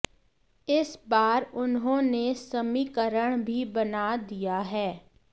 इस बार उन्होंने समीकरण भी बना दिया है